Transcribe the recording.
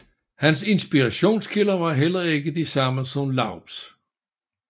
Hans inspirationskilder var heller ikke de samme som Laubs